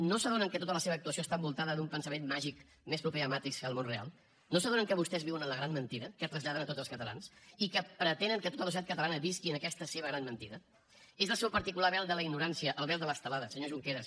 no s’adonen que tota la seva actuació està envoltada d’un pensament màgic més proper a matrix que al món real no s’adonen que vostès viuen en la gran mentida que traslladen a tots els catalans i que pretenen que tota la societat catalana visqui en aquesta seva gran mentida és el seu particular vel de la ignorància el vel de l’estelada senyor junqueras